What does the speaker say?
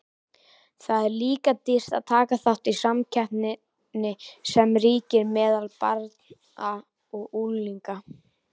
Það er líka dýrt að taka þátt í samkeppninni sem ríkir meðal barna og unglinga.